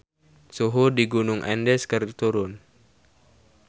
Suhu di Gunung Andes keur turun